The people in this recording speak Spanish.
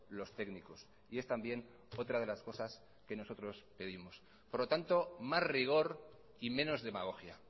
los técnicos y es también otra de las cosas que nosotros pedimos por lo tanto más rigor y menos demagogia